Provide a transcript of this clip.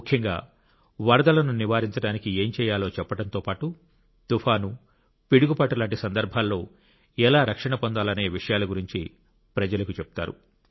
ముఖ్యంగా వరదలను నివారించడానికి ఏం చేయాలో చెప్పడంతో పాటు తుఫాను పిడుగుపాటులాంటి సందర్భాలలో ఎలా రక్షణ పొందాలనే విషయాల గురించి ప్రజలకు చెబుతారు